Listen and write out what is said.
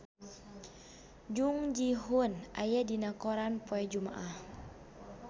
Jung Ji Hoon aya dina koran poe Jumaah